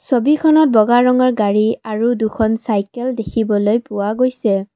ছবিখনত বগা ৰঙৰ গাড়ী আৰু দুখন চাইকেল দেখিবলৈ পোৱা গৈছে।